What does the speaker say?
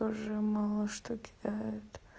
тоже мало что кидают